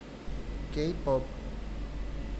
кей поп